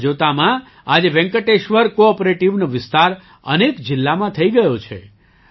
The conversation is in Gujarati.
જોતજોતામાં આજે વેંકટેશ્વર કૉઑપરેટિવનો વિસ્તાર અનેક જિલ્લામાં થઈ ગયો છે